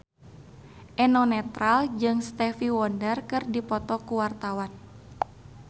Eno Netral jeung Stevie Wonder keur dipoto ku wartawan